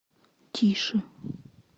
тише